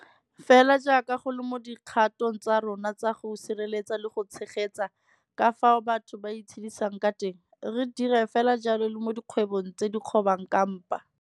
Fela jaaka go le mo dikgatong tsa rona tsa go sireletsa le go tshegetsa ka fao batho ba itshedisang ka teng, re dira fela jalo le mo dikgwebong tse di kgobang ka mpa.